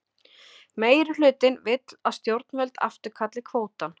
Meirihlutinn vill að stjórnvöld afturkalli kvótann